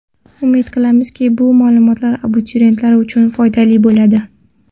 Umid qilamizki, bu ma’lumotlar abituriyentlar uchun foydali bo‘ladi.